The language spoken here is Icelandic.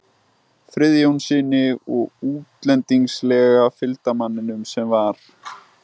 Friðjónssyni og útlendingslega fylgdarmanninum sem var